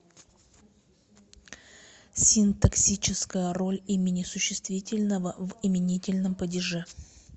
синтаксическая роль имени существительного в именительном падеже